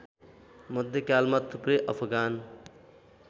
मध्यकालमा थुप्रै अफगान